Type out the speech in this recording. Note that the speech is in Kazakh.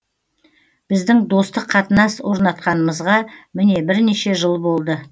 біздің достық қатынас орнатқанымызға міне бірнеше жыл болды